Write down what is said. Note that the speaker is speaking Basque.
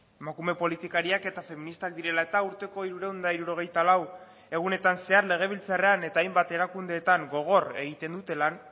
emakume politikariak eta feministak direla eta urteko hirurehun eta hirurogeita lau egunetan zehar legebiltzarrean eta hainbat erakundeetan gogor egiten dute lan